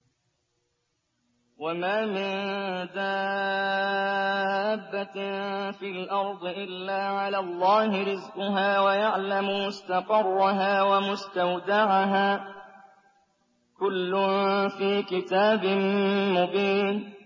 ۞ وَمَا مِن دَابَّةٍ فِي الْأَرْضِ إِلَّا عَلَى اللَّهِ رِزْقُهَا وَيَعْلَمُ مُسْتَقَرَّهَا وَمُسْتَوْدَعَهَا ۚ كُلٌّ فِي كِتَابٍ مُّبِينٍ